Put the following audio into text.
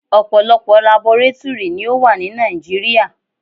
Ọ̀pọ̀lọpọ̀ labọrátúrì ni ó wà ní Nàìjíríà.